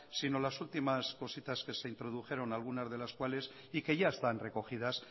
sino las últimas cositas que se introdujeron algunas de la cuales y que ya están recogidas